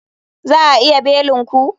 Za a iya belin ku?